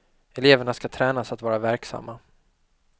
Eleverna skall tränas att vara verksamma.